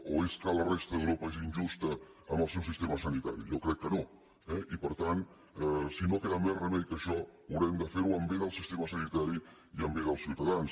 o és que la resta d’europa és injusta en el seu sistema sanitari jo crec que no eh i per tant si no queda més remei que això haurem de fer ho en bé del sistema sanitari i en bé dels ciutadans